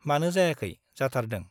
मानो जायाखै , जाथारदों ।